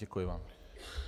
Děkuji vám.